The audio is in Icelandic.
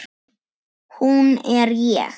Hún er ég.